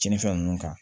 Tiɲɛnifɛn ninnu kan